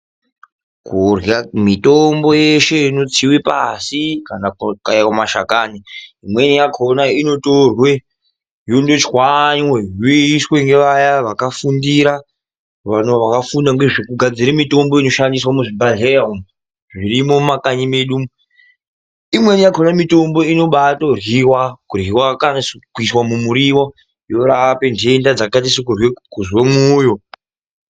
kurya mitombo yeshe inotswiwe pashi kana kukaiwa mashakani imwe yakona inotorwa yonoshwanywe yoishwa ngevaya vakafundira vakafunda ngezvekugadzira mutombo inoshandiswa muzvibhedhlera umu zvirimo mumakanyi medu umu imweni yakona mitombo inotobatoryiwa kuryiwa kuiswa mumiriwo yorapa nhenda dzakaita sekuzwe moyo .